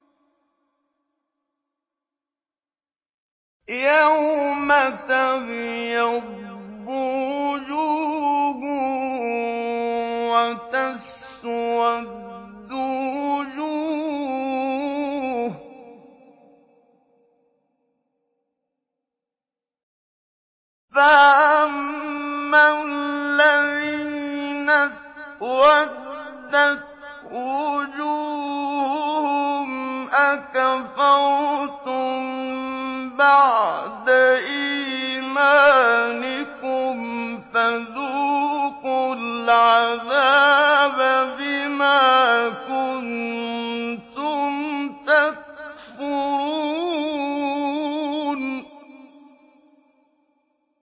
يَوْمَ تَبْيَضُّ وُجُوهٌ وَتَسْوَدُّ وُجُوهٌ ۚ فَأَمَّا الَّذِينَ اسْوَدَّتْ وُجُوهُهُمْ أَكَفَرْتُم بَعْدَ إِيمَانِكُمْ فَذُوقُوا الْعَذَابَ بِمَا كُنتُمْ تَكْفُرُونَ